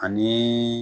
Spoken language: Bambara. Ani